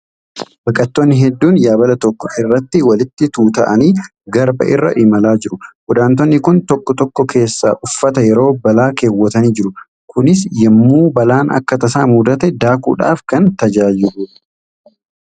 Baqattoonni hedduun yaabala tokko irratti walitti tuuta''anii garba irra imalaa jiru . Godaantonni kun tokko tokko keessaa uffata yeroo balaa keewwatanii jiru. Innis yemmuu balaan akka tasaa mudate daakuudhaaf kan tajaajiluudha.